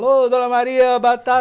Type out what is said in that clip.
Alô, dona Maria, batata!